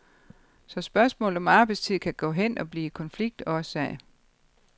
Så spørgsmålet om arbejdstid kan gå hen og blive konfliktårsag.